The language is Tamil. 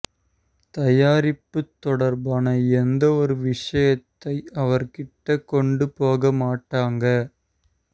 தயாரிப்பு தொடர்பான எந்த ஒரு விஷயத்தை அவர்கிட்ட கொண்டு போக மாட்டாங்க